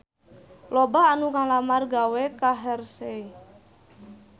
Loba anu ngalamar gawe ka Hershey